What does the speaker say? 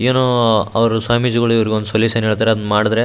ಏನೋ ಒಂದು ಸ್ವಾಮೀಜಿಗಳು ಸೊಲ್ಯೂಷನ್ ಹೇಳ್ತಾರೆ ಅದ್ನ ಮಾಡಿದ್ರೆ --